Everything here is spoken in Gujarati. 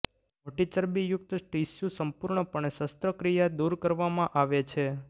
મોટી ચરબીયુક્ત ટીશ્યુ સંપૂર્ણપણે શસ્ત્રક્રિયા દૂર કરવામાં આવે છે